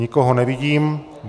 Nikoho nevidím.